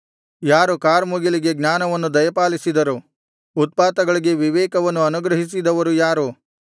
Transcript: ಯಾರು ಕಾರ್ಮುಗಿಲಿಗೆ ಜ್ಞಾನವನ್ನು ದಯಪಾಲಿಸಿದರು ಉತ್ಪಾತಗಳಿಗೆ ವಿವೇಕವನ್ನು ಅನುಗ್ರಹಿಸಿದವರು ಯಾರು